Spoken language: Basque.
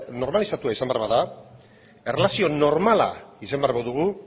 normalizatua izan behar bada erlazio normala izan behar badugu